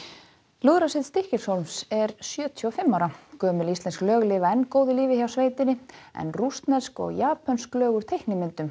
lúðrasveit Stykkishólms er sjötíu og fimm ára gömul íslensk lög lifa enn góðu lífi hjá sveitinni en rússnesk og japönsk lög úr teiknimyndum